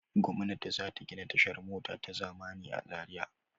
Gwamnati za ta gina tashar mota ta zamani a Zariya.